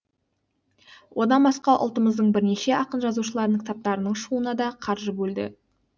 одан басқа ұлтымыздың бірнеше ақын жазушыларының кітаптарының шығуына да қаржы бөлді